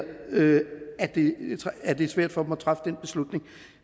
at det er svært for folk at træffe den beslutning